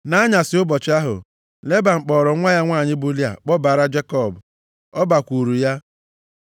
+ 29:23 Ụmụ nwanyị a lụrụ alụ na-eji akwa mkpudo kpuchie ihu ha. \+xt Jen 24:65\+xt*Nʼanyasị ụbọchị ahụ, Leban kpọọrọ nwa ya nwanyị bụ Lịa kpọbara Jekọb, ọ bakwuuru ya.